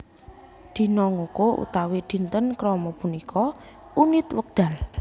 Dina ngoko utawi dinten krama punika unit wekdal